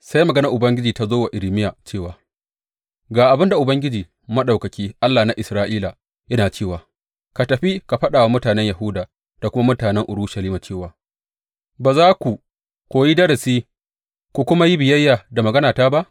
Sai maganar Ubangiji ta zo wa Irmiya cewa, Ga abin da Ubangiji, Maɗaukaki, Allah na Isra’ila, yana cewa ka tafi ka faɗa wa mutanen Yahuda da kuma mutanen Urushalima cewa, Ba za ku koyi darasi ku kuma yi biyayya da maganata ba?’